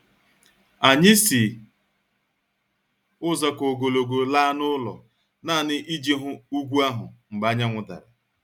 Anyị si ụzọ ka ogologo laa n'ụlọ nanị iji hụ ugwu ahụ mgbe anyanwụ dara